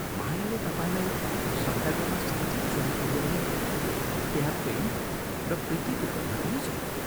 मायाले तपाईंलाई श्रद्धा गर्न साँच्चै छोडेकी हो भने त्यहाँ प्रेम र प्रीतिको गन्ध पनि छैन।